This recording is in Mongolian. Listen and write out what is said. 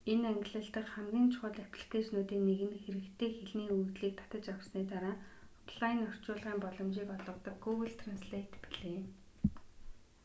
энэ ангилал дахь хамгийн чухал апликэйшнуудын нэг нь хэрэгтэй хэлний өгөгдлийг татаж авсаны дараа офлайн орчуулгын боломжийг олгодог гүүгл трэнслэйт билээ